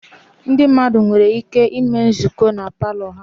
Ndị mmadụ nwere ike ịme nzukọ na palọ ha